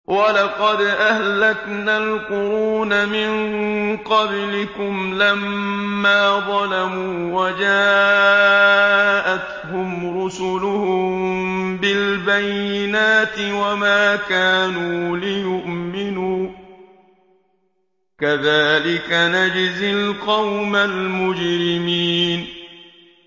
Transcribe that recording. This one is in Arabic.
وَلَقَدْ أَهْلَكْنَا الْقُرُونَ مِن قَبْلِكُمْ لَمَّا ظَلَمُوا ۙ وَجَاءَتْهُمْ رُسُلُهُم بِالْبَيِّنَاتِ وَمَا كَانُوا لِيُؤْمِنُوا ۚ كَذَٰلِكَ نَجْزِي الْقَوْمَ الْمُجْرِمِينَ